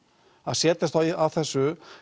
að setjast að þessu